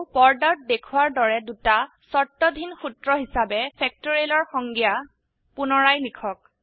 আৰু পৰ্দাত দেখোৱাৰ দৰে দুটা শৰ্তধীন সূত্ৰ হিসাবে factorialৰ সংজ্ঞা পুনৰায় লিখক